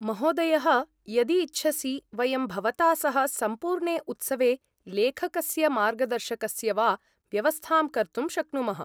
महोदयः यदि इच्छसि, वयं भवता सह सम्पूर्णे उत्सवे लेखकस्य मार्गदर्शकस्य वा व्यवस्थां कर्तुं शक्नुमः।